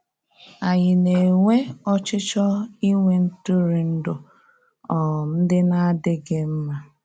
Ànyí na-enwe ọchịchọ inwe ntụrụndụ um ndị na-adị́ghị mma?